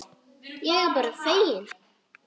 Ég er bara feginn.